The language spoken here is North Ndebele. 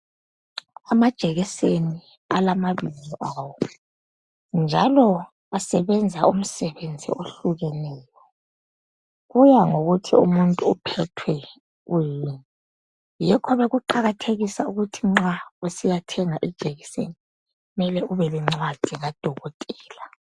Amajekiseni alamabizo awo, njalo asebenza umsebenzi ohlukeneyo. Kuya ngokuthi umuntu uphethwe kuyini. Yikho bekuqakathekisa ukuthi nxa usiyathenga ijekiseni kumele ubelencwadi kadokotela.